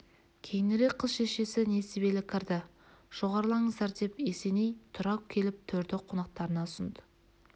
кейінірек қыз шешесі несібелі кірді жоғарылаңыздар деп есеней тұра келіп төрді қонақтарына ұсынды